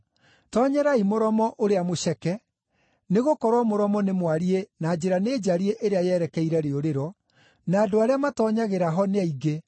“Toonyerai mũromo ũrĩa mũceke. Nĩgũkorwo mũromo nĩ mwariĩ na njĩra nĩ njariĩ ĩrĩa yerekeire rĩũrĩro, na andũ arĩa matoonyagĩra ho nĩ aingĩ.